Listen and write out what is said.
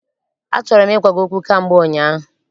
Achọrọ m ịgwa gị okwu kamgbe ụnyaahụ.